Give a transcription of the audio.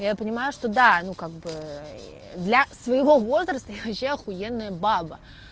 я понимаю что да ну как бы для своего возраста я вообще ахуенная девушка